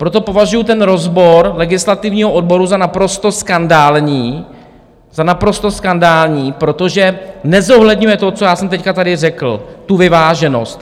Proto považuju ten rozbor legislativního odboru za naprosto skandální, za naprosto skandální, protože nezohledňuje to, co já jsem teď tady řekl, tu vyváženost.